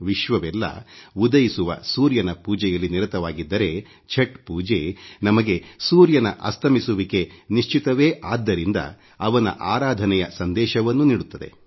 ವಿಶ್ವವೆಲ್ಲ ಉದಯಿಸುವ ಸೂರ್ಯನ ಪೂಜೆಯಲ್ಲಿ ನಿರತವಾಗಿದ್ದರೆ ಛಟ್ ಪೂಜೆ ನಮಗೆ ಸೂರ್ಯನ ಅಸ್ತಮಿಸುವಿಕೆ ನಿಶ್ಚಿತವೇ ಆದ್ದರಿಂದ ಅವನ ಆರಾಧನೆಯ ಸಂದೇಶವನ್ನೂ ನೀಡುತ್ತದೆ